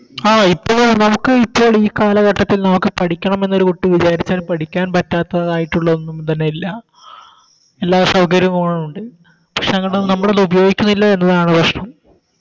ആ ഇപ്പോഴാ നമുക്ക് ഇപ്പോൾ ഈ കാലഘട്ടത്തിൽ നമുക്ക് പഠിക്കണമെന്നൊരു കുട്ടി വിചാരിച്ചാൽ പഠിക്കാൻ പറ്റാതായിട്ടുള്ളതോന്നും തന്നെ ഇല്ല എല്ലാ സൗകര്യങ്ങളും ഉണ്ട് പക്ഷെ നമ്മളത് ഉപയോഗിക്കുന്നില്ല എന്നതാണ് പ്രശ്നം